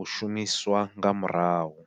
u shumiswa nga murahu.